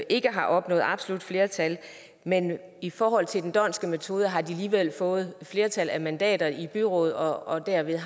ikke har opnået absolut flertal men i forhold til den dhondtske metode har de alligevel fået et flertal af mandater i byrådet og har derved